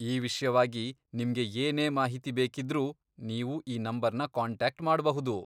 ಈ ವಿಷ್ಯವಾಗಿ ನಿಮ್ಗೆ ಏನೇ ಮಾಹಿತಿ ಬೇಕಿದ್ರೂ ನೀವು ಈ ನಂಬರ್ನ ಕಾಂಟ್ಯಾಕ್ಟ್ ಮಾಡ್ಬಹುದು.